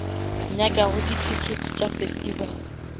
nyakago di tickets tša festival